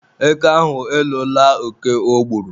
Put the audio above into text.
Eke ahụ elola oke o gburu.